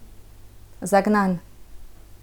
Zagnan.